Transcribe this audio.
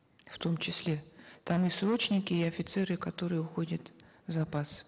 в том числе там и срочники и офицеры которые уходят в запас